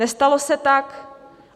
Nestalo se tak.